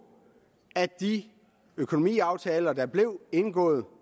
at de økonomiaftaler der blev indgået